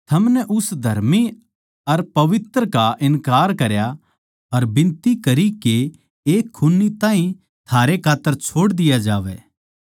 थमनै उस धर्मी अर पवित्र का इन्कार करया अर बिनती करी के एक खून्नी ताहीं थारै खात्तर छोड़ दिया जावै